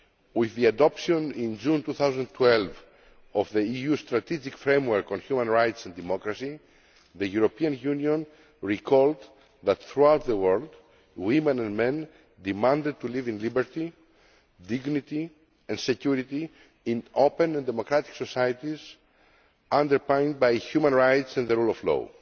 With the adoption, in June 2012, of the EU Strategic Framework on Human Rights and Democracy, the European Union recalled that, throughout the world, women and men demanded to live in liberty, dignity and security, in open and democratic societies underpinned by human rights and the rule of law.